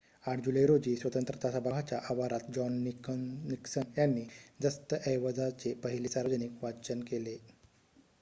८ जुलै रोजी स्वतंत्रता सभागृहाच्या आवारात जॉन निक्सन यांनी दस्तऐवजाचे पहिले सार्वजनिक वाचन केले